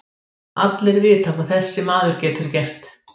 Allir vita hvað þessi maður getur gert.